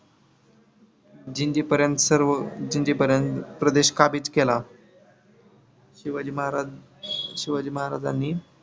जिंजीपर्यंत सर्व जिंजीपर्यंत प्रदेश काबिज केला. शिवाजी महाराज शिवाजी महाराजांनी